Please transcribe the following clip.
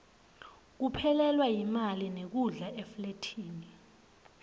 kuphelelwa yimali nekudla eflathini